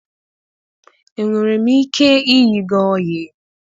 Enwere m ike ịyị gị oyii?